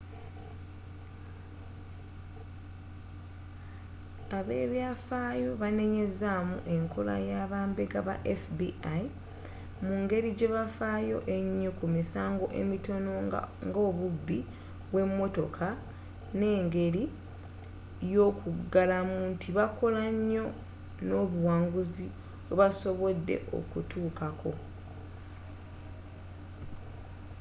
abebyafayo banenyezamu enkola y'abambega ba fbi mu ngeri gyebafyo enyo ku misango emitono nga obubbi bwe motoka ng'engeri y'okulagamu nti bakola nyo nobuwanguzi bwebasobodde okutuukako